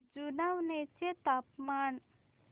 जुनवणे चे तापमान